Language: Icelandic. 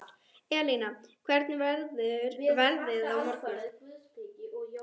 Elina, hvernig verður veðrið á morgun?